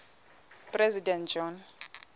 president john